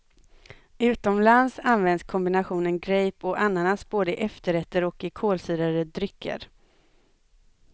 Utomlands används kombinationen grape och ananas både i efterrätter och i kolsyrade drycker.